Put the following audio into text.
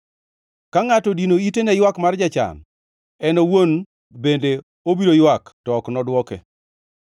Ka ngʼato odino ite ne ywak mar jachan, en owuon bende obiro ywak to ok nodwoke.